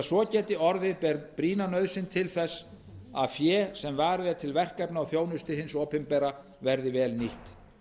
svo geti orðið ber brýna nauðsyn til þess að fé sem varið er til verkefna og þjónustu hins opinbera verði vel nýtt